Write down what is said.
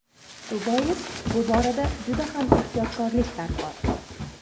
Shu bois, bu borada juda ham ehtiyotkorlik darkor.